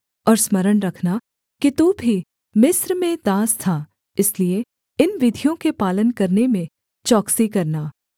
और स्मरण रखना कि तू भी मिस्र में दास था इसलिए इन विधियों के पालन करने में चौकसी करना